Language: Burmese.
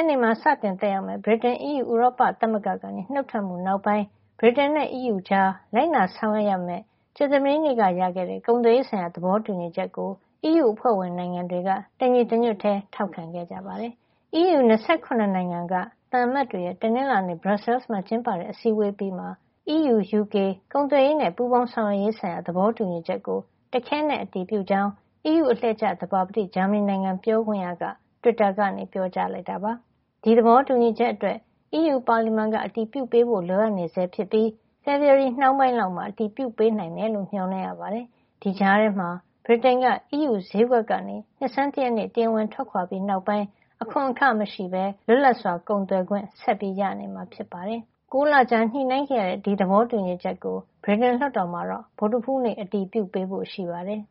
်နေ့မှာ စတင်သက်ရောက်မယ့် ဗြိတိန် အီးယူ ဥရောပသမဂ္ဂကနေ နုတ်ထွက်မှု နောက်ပိုင်း ဗြိတိန်နဲ့အီးယူကြား လိုက်နာဆောင်ရွက်ကြမယ့် ကြာသပတေးက ရခဲ့တဲ့ ကုန်သွယ်ရေးဆိုင်ရာ သဘောတူညီချက်ကို အီးယူအဖွဲ့ဝင် နိုင်ငံတွေက တနင်္လာနေ့မှာ တညီတညွတ်ထဲ ထောက်ခံခဲ့ကြပါတယ်။ အီးယူ ၂၇ နိုင်ငံက သံအမတ်တွေရဲ့ တနင်္လာနေ့ Brussels မှာ ကျင်းပတဲ့ အစည်းအဝေး အပြီးမှာ အီးယူ -UK ကုန်သွယ်ရေးနဲ့ ပူးပေါင်းဆောင်ရွက်ရေးဆိုင်ရာ သဘောတူညီချက်ကို တခဲနက် အတည်ပြုကြောင်း အီးယူအလှည့်ကျ သဘာပတိ ဂျာမဏီနိုင်ငံက ပြောခွင့်ရ Sebastian Fischer က တွစ်တာကနေ ပြောကြားလိုက်တာ ဖြစ်ပါတယ်။ ဒီသဘောတူညီချက်အတွက် အီးယူပါလီမန်က အတည်ပြုပေးဖို့ လိုအပ်နေဆဲ ဖြစ်ပြီး ဖေဖေါ်ဝါရီနှောင်းပိုင်း လောက်မှာ အတည်ပြုပေးနိုင်မယ်လို့ မေ ျှာ်လင့်ရပါတယ်။ ဒီကြားထဲမှာ ဗြိတိန်က အီးယူဈေးကွက်ကနေ နှစ်ဆန်း တရက်နေ့ တရားဝင်ထွက်ခွါ ပြီးနောက်ပိုင်း အခွန်ခမရှိပဲ လွတ်လပ်စွာ ကုန်သွယ်ခွင့် ဆက်ရနေမှာ ဖြစ်ပါတယ်။ ၉ လကြာညှိနှိုင်းခဲ့ရတဲ့ ဒီသဘောတူညီချက်ကို ဗြိတိန်လွှတ်တော်မှာတော့ ဗုဒ္ဓဟူးနေ့ အတည်ပြုပေးဖို့ ရှိပါတယ်